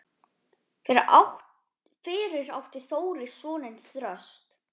Fyrir átti Þórir soninn Þröst.